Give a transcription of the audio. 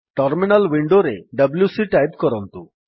terminal ୱିଣ୍ଡୋରେ WC type କରନ୍ତୁ